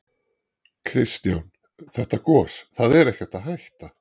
Kristján: Þetta gos, það er ekkert að hætta?